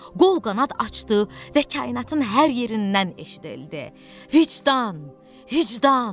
Qol-qanad açdı və kainatın hər yerindən eşidildi: "Vicdan, vicdan!"